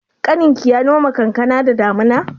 Ƙaninka ya noma kankana da damuna?